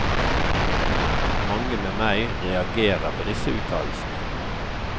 Mange med meg reagerer på disse uttalelsene.